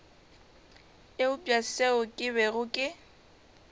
eupša seo ke bego ke